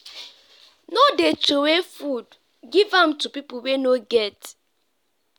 no dey troway food give am to pipu wey no get.